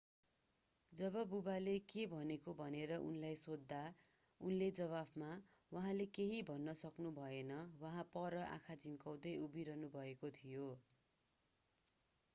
जब बुवाले के भनेको भनेर उनलाई सोध्दा उनले जवाफमा उहाँले केही भन्न सक्नुभएन उहाँ पर आँखा झिम्काउँदै उभिरहनुभएको थियो